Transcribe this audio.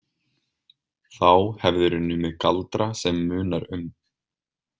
Þá hefðirðu numið galdra sem munar um.